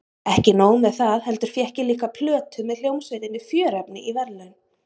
Ekki nóg með það heldur fékk ég líka plötu með hljómsveitinni Fjörefni í verðlaun.